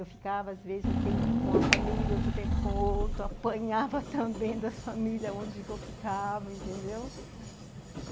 Eu ficava, às vezes, um tempo com a família, outro tempo com o outro, apanhava também das famílias onde eu ficava, entendeu? Aham...